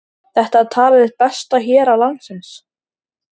Þetta er talið eitt besta hérað landsins.